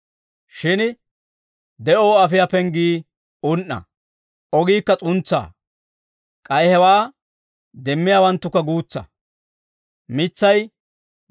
«Shin, de'oo afiyaa penggii un"a; ogiikka s'untsaa. K'ay hewaa demmiyaawanttukka guutsa.